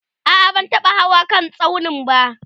a'a ban taba Hawa kan tsaunin ba